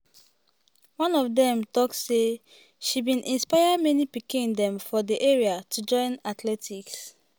one of dem tok say "she bin inspire many pikin dem for di area to join athletics."